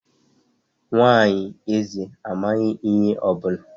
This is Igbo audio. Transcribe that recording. Nwanyị eze amaghị ihe ọ bụla